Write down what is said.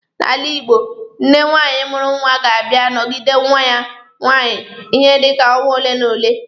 N'ala Igbo, nne nwaanyị mụrụ nwa ga-abịa nọgide nwa ya nwaanyị ihe dika ọnwa ole n'ole.